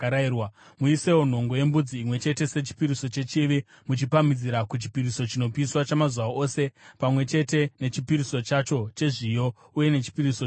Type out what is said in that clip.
Muisewo nhongo yembudzi imwe chete sechipiriso chechivi, muchipamhidzira kuchipiriso chinopiswa chamazuva ose pamwe chete nechipiriso chacho chezviyo uye nechipiriso chokunwa.